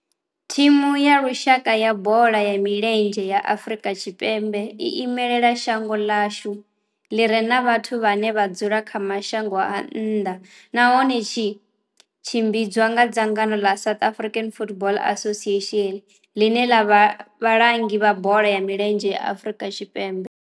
Thimu ya lushaka ya bola ya milenzhe ya Afrika Tshipembe i imela shango ḽa hashu ḽi re na vhathu vhane vha dzula kha mashango a nnḓa nahone zwi tshimbidzwa nga dzangano la South African Football Association, line la vha vhalangi vha bola ya milenzhe Afrika Tshipembe.